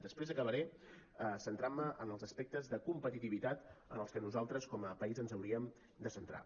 després acabaré centrant me en els aspectes de competitivitat en els que nosaltres com a país ens hauríem de centrar